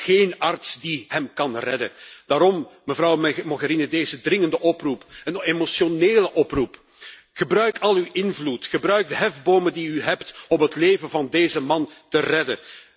En er is geen arts die hem kan redden. Daarom, mevrouw Mogherini, deze dringende oproep, een emotionele oproep gebruik al uw invloed, gebruik de hefbomen die u heeft om het leven van deze man te redden!